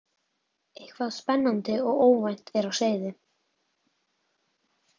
Eitthvað spennandi og ógnvænlegt er á seyði.